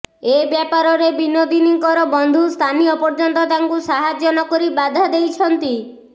ଏ ବ୍ୟାପାରରେ ବିନୋଦିନୀଙ୍କର ବନ୍ଧୁସ୍ଥାନୀୟ ପର୍ଯ୍ୟନ୍ତ ତାଙ୍କୁ ସାହାଯ୍ୟ ନକରି ବାଧା ଦେଇଛନ୍ତି